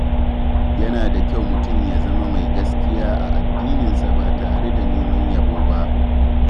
Yana da kyau mutum ya zama mai gaskiya a addininsa ba tare da neman yabo ba.